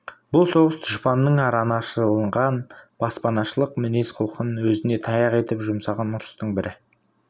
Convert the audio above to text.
бұл соғыс дұшпанның араны ашылған баспашылық мінез-құлқын өзіне таяқ етіп жұмсаған ұрыстың бірі